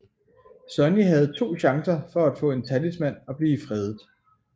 Sonny havde to chancer for at få en talisman og blive fredet